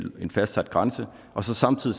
grænse og samtidig